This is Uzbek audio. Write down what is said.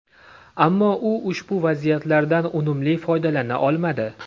Ammo u ushbu vaziyatlardan unumli foydalana olmadi.